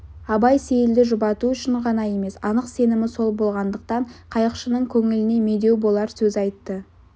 абай сейілді жұбату үшін ғана емес анық сенімі сол болғандықтан қайықшының көңіліне медеу болар сөз айтты